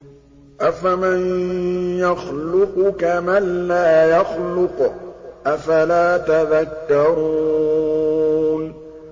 أَفَمَن يَخْلُقُ كَمَن لَّا يَخْلُقُ ۗ أَفَلَا تَذَكَّرُونَ